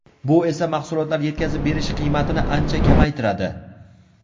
Bu esa mahsulotlar yetkazib berish qiymatini ancha kamaytiradi.